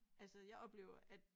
Altså jeg oplever at